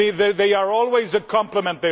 They are always a complement.